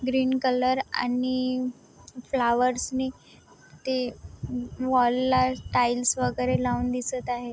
Green colour आणि flowers नि ते मॉल ला टाइल्स वेगेरे लावून दिसत आहे.